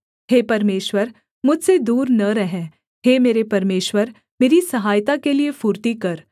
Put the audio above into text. हे परमेश्वर मुझसे दूर न रह हे मेरे परमेश्वर मेरी सहायता के लिये फुर्ती कर